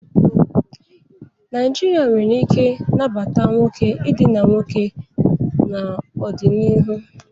Nigeria nwere ike nabata nwoke idina nwoke n'ọdịniihu.